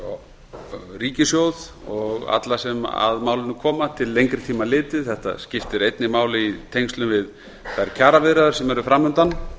fyrir ríkissjóð og alla sem að málinu koma til lengri tíma litið þetta skiptir einnig máli í tengslum við þær kjaraviðræður sem eru fram undan